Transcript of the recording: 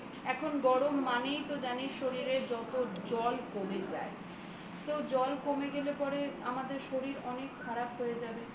এখন গরম মানেই তো জানিস শরীরের যত জল কমে যায় তোর জল কমে গেলে আমাদের শরীর অনেক খারাপ হয়ে যাবে